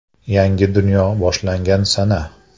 Yangi dunyo boshlangan sana.